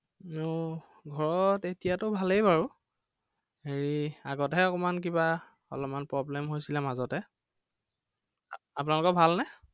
উম ঘৰত এতিয়াতো ভালেই বাৰু। হেৰি আগতেহে অকণমান কিবা অলপমান problem হৈছিলে মাজতে। আপোনালোকৰ ভাল নে?